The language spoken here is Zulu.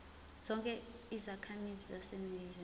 zonke izakhamizi zaseningizimu